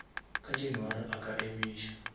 ka january a ka emiša